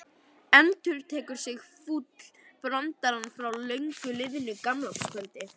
Endurtekur sig fúll brandarinn frá löngu liðnu gamlárskvöldi.